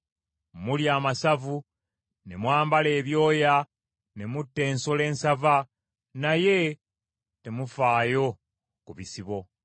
Mulya amasavu, ne mwambala ebyoya, ne mutta ensolo ensava, naye temufaayo ku bisibo.